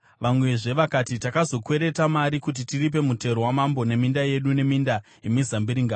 Vamwezve vakati, “Takatozokwereta mari kuti tiripe mutero wamambo weminda yedu neminda yemizambiringa.